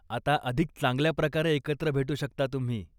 आता अधिक चांगल्याप्रकारे एकत्र भेटू शकता तुम्ही.